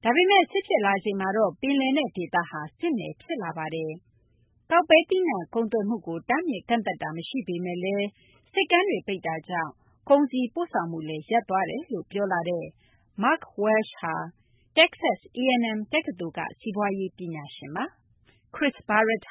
။ ဒါပေမယ့် စစ်ဖြစ်လာချိန်မှာတော့ ပင်လယ်နက် ဒေသဟာ စစ်နယ် ဖြစ်လာပါတယ်။ ကောက်ပဲ သီးနှံ ကုန်သွယ်မှုကို တားမြစ်ကန့်သတ်တာ မရှိပေမယ့်လည်း ဆိပ်ကမ်းတွေ ပိတ်တာကြောင့် ကုန်စည် ပို့ဆောင်မှုလည်း ရပ်တန့်သွားတယ်လို့ ပြောလာတဲ့ Mark Welch ဟာ တက္ကဆက် A&M တက္ကသိုလ်က စီးပွားရေး ပညာရှင် ဖြစ်ပါတယ်။